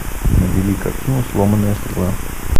набери картину сломанная стрела